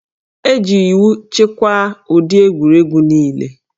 E ji iwu chịkwaa ụdị egwuregwu niile